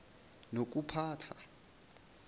nokuphatha